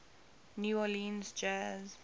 new orleans jazz